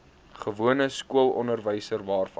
gewone skoolonderwys waarvan